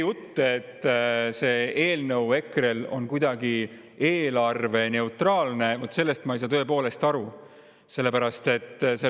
Jutt, et see eelnõu on EKRE-l kuidagi eelarveneutraalne, vaat sellest ma ei saa aru.